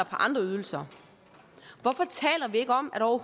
på andre ydelser hvorfor taler vi ikke om at over